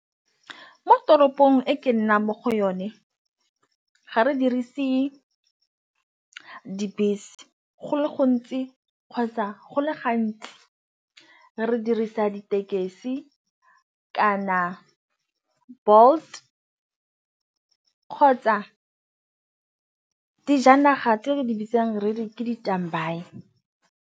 Mo toropong e ke nnang mo go yone ga re dirise dibese go le gontsi kgotsa go le gantsi re di sa ditekesi kana Bolt kgotsa dijanaga tse re di bitsang re re ke di .